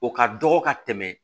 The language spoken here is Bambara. O ka dɔgɔ ka tɛmɛ